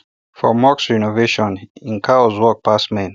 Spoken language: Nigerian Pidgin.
for mosque renovation hin cows work pass men